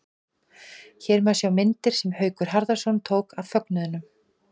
Hér má sjá myndir sem Haukur Harðarson tók af fögnuðinum.